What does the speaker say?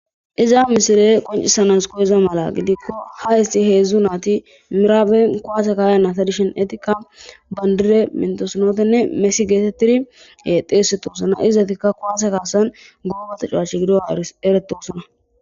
Pizza misiley qoncisana mala koyizaysatho gidikko ha issi hezhehu nayti miraben kuwase ka'iza nayta gidishin bandire mintosonetenne mesi getetidi xeysetosona izzetika kuwase kasan goba tecawache gidogan eretosona